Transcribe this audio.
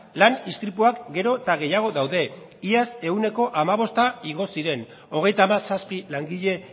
lan istripuak gero eta gehiago daude iaz ehuneko hamabost igo ziren hogeita hamazazpi langile